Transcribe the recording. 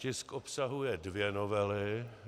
Tisk obsahuje dvě novely.